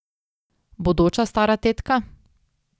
Bodoča stara tetka?